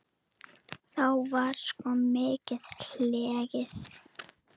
Þá var sko mikið hlegið.